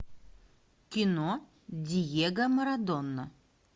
кино диего марадона